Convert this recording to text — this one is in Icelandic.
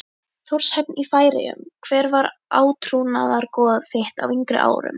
Þórshöfn í Færeyjum Hver var átrúnaðargoð þitt á yngri árum?